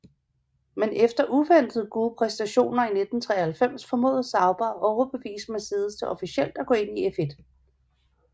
Men efter uventede gode præstationer i 1993 formåede Sauber at overbevise Mercedes til officielt at gå ind i F1